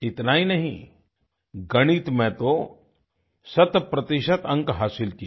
इतना ही नहीं गणित में तो शतप्रतिशत अंक हासिल किए